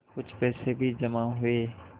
कुछ पैसे भी जमा हुए